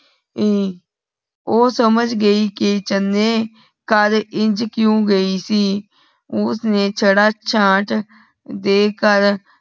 ਹਮ ਉਹ ਸਮਝ ਗਈ ਕਿ ਚਣੇ ਘਰ ਇੰਜ ਕਿਉ ਗਈ ਸੀ ਉਸ ਨੇ ਚੜ੍ਹਾ ਚਾਟ ਦੇ ਕਰ